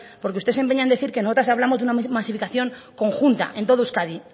porque usted se empeña en decir que nosotras hablamos de una masificación conjunta en todo euskadi